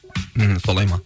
ммм солай ма